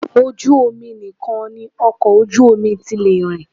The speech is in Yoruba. Ojú omi nìkan ni ọkọ ojú omi ti lè rìn